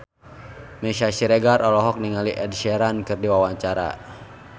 Meisya Siregar olohok ningali Ed Sheeran keur diwawancara